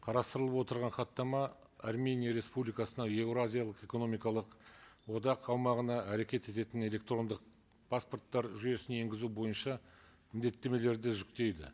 қарастырылып отырған хаттама армения республикасына еуразиялық экономикалық одақ аумағына әрекет ететін электрондық паспорттар жүйесін енгізу бойынша міндеттемелерді жүктейді